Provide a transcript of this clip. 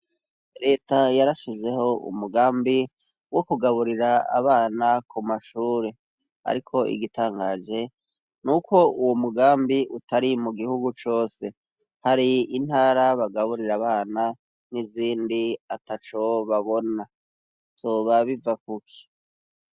Reta yarashizeho umugambi wo kugaburira abana ku mashure, ariko igitangaje nuko uwo mugambi utari mu gihugu cose ,hari intara bagarre abana, n'izindi atacobabona ,vyoba biva kuki?